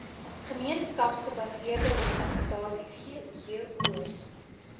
gemeenskapsgebaseerde organisasies ggos